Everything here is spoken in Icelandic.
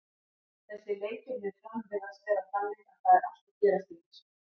Þessir leikir við Fram virðast vera þannig að það er allt að gerast í þessu.